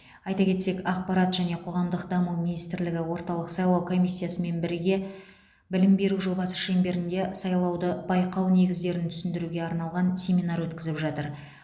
айта кетсек ақпарат және қоғамдық даму министрлігі орталық сайлау комиссиясымен бірге білім беру жобасы шеңберінде сайлауды байқау негіздерін түсіндіруге арналған семинар өткізіп жатыр